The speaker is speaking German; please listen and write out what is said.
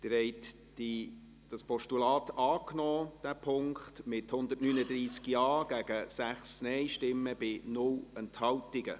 Sie haben diesen Punkt als Postulat angenommen, mit 139 Ja- gegen 6 Nein-Stimmen bei 0 Enthaltungen.